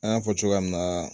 An y'a fɔ cogoya min na